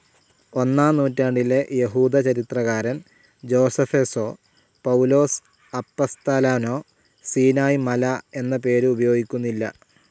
ഒന്നാം നൂറ്റാണ്ടിലെ യഹൂദചരിത്രകാരൻ ജോസെഫസോ, പൗലോസ് അപ്പസ്തോലനോ സീനായ് മല എന്ന പേര് ഉപയോഗിക്കുന്നില്ല.